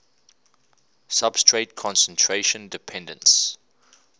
substrate concentration dependence